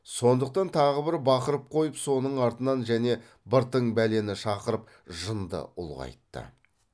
сондықтан тағы бір бақырып қойып соның артынан және бір тың бәлені шақырып жынды ұлғайтты